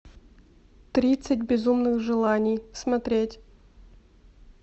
тридцать безумных желаний смотреть